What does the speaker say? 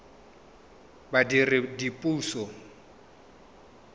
badiredipuso